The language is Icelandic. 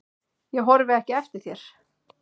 Ég horfi ekki eftir þér.